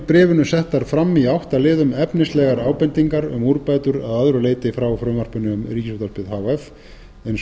bréfinu settar fram í átta liðum efnislegar ábendingar um úrbætur að öðru leyti frá frumvarpinu um ríkisútvarpið h f eins